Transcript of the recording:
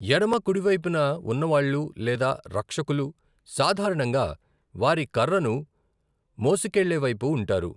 ఎడమ, కుడి వైపున వున్నావాళ్ళు లేదా రక్షకులు సాధారణంగా వారి కర్రను మోసుకెళ్లే వైపు ఉంటారు.